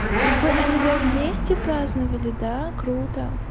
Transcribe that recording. внг вместе праздновали да круто